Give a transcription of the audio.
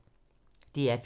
DR P3